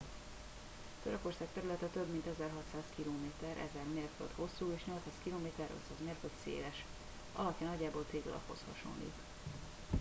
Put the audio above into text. törökország területe több mint 1600 km 1000 mérföld hosszú és 800 km 500 mérföld széles és alakja nagyjából téglalaphoz hasonlít